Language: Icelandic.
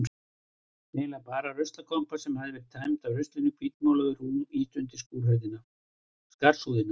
Eiginlega bara ruslakompa sem hafði verið tæmd af ruslinu, hvítmáluð og rúmi ýtt undir skarsúðina.